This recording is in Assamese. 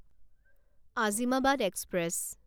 আজিমাবাদ এক্সপ্ৰেছ